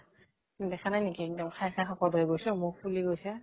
দেখা নাই নেকি এক্দম খাই খাই শকত হৈ গৈছো, মুখ ফুলি গৈছে।